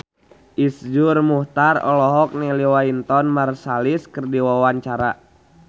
Iszur Muchtar olohok ningali Wynton Marsalis keur diwawancara